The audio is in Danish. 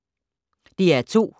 DR2